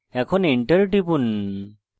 এখন enter টিপুন